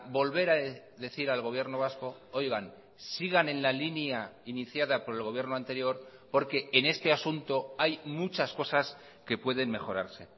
volver a decir al gobierno vasco oigan sigan en la línea iniciada por el gobierno anterior porque en este asunto hay muchas cosas que pueden mejorarse